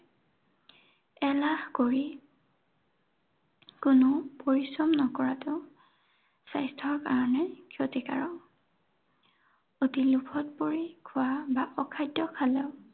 এলাহ কৰি কোনো পৰিশ্ৰম নকৰাটো স্বাস্থ্যৰ কাৰণে ক্ষতিকাৰক। অতি লোভত পৰি খোৱা, বা অখাদ্য খালেও